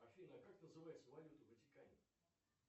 афина как называется валюта в ватикане